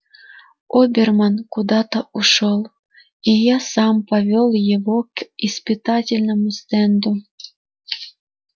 оберман куда-то ушёл и я сам повёл его к испытательному стенду